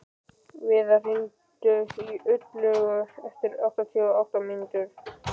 Viðar, hringdu í Illuga eftir áttatíu og átta mínútur.